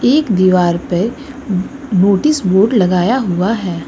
एक दीवार पे नोटिस बोर्ड लगाया हुआ है।